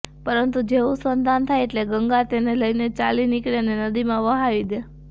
પરંતુ જેવું સંતાન થાય એટલે ગંગા તેને લઈને ચાલી નીકળે અને નદીમાં વહાવી દે